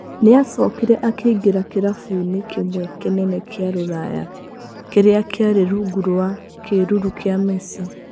Nĩ acokire akĩingĩra kirabu-inĩ kĩmwe kĩnene kĩa rũraya kĩrĩa kĩarĩ rungu rwa kĩĩruru kĩa Messi.